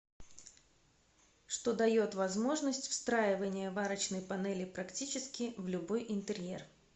что дает возможность встраивания варочной панели практически в любой интерьер